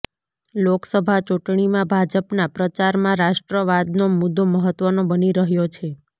લોકસભા ચૂંટણીમાં ભાજપના પ્રચારમાં રાષ્ટ્રવાદનો મુદ્દો મહત્વનો બની રહ્યો છે